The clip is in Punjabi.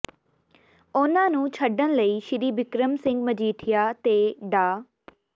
ਉਨ੍ਹਾਂ ਨੂੰ ਛੱਡਣ ਲਈ ਸ੍ਰੀ ਬਿਕਰਮ ਸਿੰਘ ਮਜੀਠੀਆ ਤੇ ਡਾ